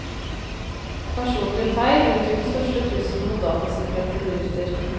Personlige feil utgjør den største trusselen mot datasikkerhet i bedrifter.